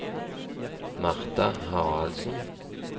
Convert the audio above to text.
Martha Haraldsen